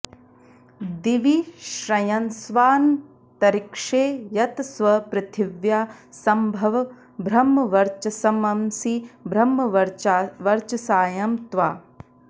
दि॒वि श्र॑यस्वा॒न्तरि॑क्षे यतस्व पृथि॒व्या संभ॑व ब्रह्मवर्च॒सम॑सि ब्रह्मवर्च॒साय॑ त्वा